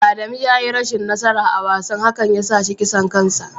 Adamu ya yi rashin nasara a wasan hankan ya sa shi kisan kansa.